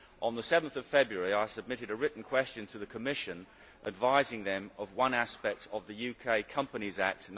On 7 February, I submitted a written question to the Commission advising it of one aspect of the UK Companies Act